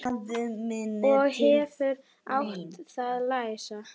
Ég hefði átt að læsa.